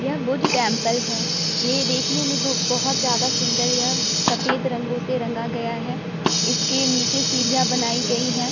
यह बुद्ध टेम्पल है ये देखने में बहो बहुत ज्यादा सुंदर यह सफ़ेद रंगो से रंगा गया है इसके नीचे सीढ़ियां बनाई गई हैं ।